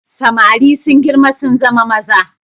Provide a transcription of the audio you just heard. Samari sun girma sun zama maza.